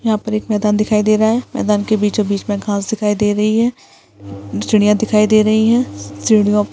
यहाँ पर एक मैदान दिखाई दे रहा है मैदान के बीचों बीच घास दिखाई दे रही है चिड़िया दिखाई दे रही है सीढ़ीओ पर--